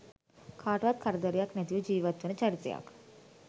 කාටවත් කරදරයක් නැතිව ජීවත්වන චරිතයක්.